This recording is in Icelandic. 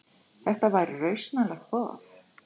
Þetta væri rausnarlegt boð.